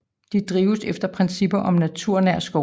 De drives efter principper om naturnær skovdrift